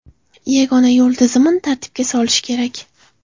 Yagona yo‘l tizimni tartibga solish kerak.